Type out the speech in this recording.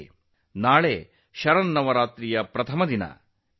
ನಾಳೆ ನವರಾತ್ರಿಯ ಮೊದಲ ದಿನ